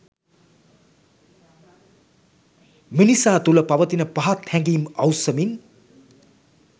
මිනිසා තුළ පවතින පහත් හැඟීම් අවුස්සමින්